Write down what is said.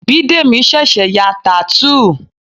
Bidemi ṣẹ̀ṣẹ̀ ya tattoo